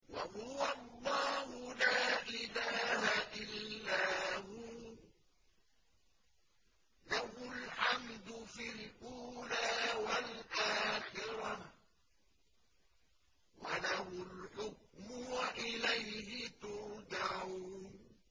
وَهُوَ اللَّهُ لَا إِلَٰهَ إِلَّا هُوَ ۖ لَهُ الْحَمْدُ فِي الْأُولَىٰ وَالْآخِرَةِ ۖ وَلَهُ الْحُكْمُ وَإِلَيْهِ تُرْجَعُونَ